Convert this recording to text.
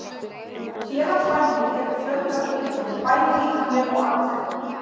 Félagsfælni hefur fjölmörg einkenni, bæði andleg og líkamleg.